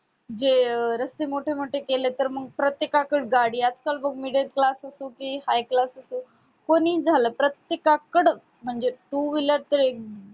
जे रस्ते मोठे मोठे केले तेर मग प्रत्येका कडे गाडी आज काळ बग middle class असो कि high class असो कोणीही झालं प्रात्येकाकड म्हणजे two wheeler ते